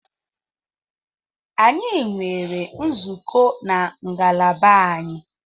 Anyi nwere nzukọ na ngalaba anyị